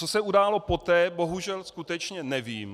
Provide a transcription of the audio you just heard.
Co se událo poté, bohužel skutečně nevím.